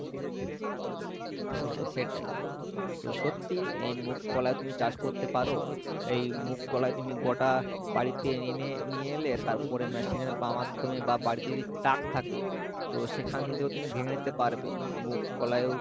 হ্যাঁ সেটাই। তো সত্যি এই মুগ কলাই তুমি চাষ করতে পারো এই মুগ কলাই তুমি গটা বাড়িতে এনে নিয়ে এলে তারপরে machine এর বা মাধ্যমে বা বাড়িতে যদি চাক থাকে তো সেখান দিয়েও তুমি ভেঙে নিতে পারবে মুগ কলাই ও